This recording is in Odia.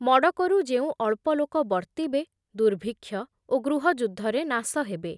ମଡ଼କରୁ ଯେଉଁ ଅଳ୍ପଲୋକ ବର୍ତ୍ତିବେ ଦୁର୍ଭିକ୍ଷ ଓ ଗୃହ ଯୁଦ୍ଧରେ ନାଶ ହେବେ ।